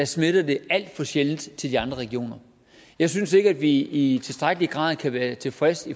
smitter det alt for sjældent til de andre regioner jeg synes ikke at vi i tilstrækkelig grad kan være tilfredse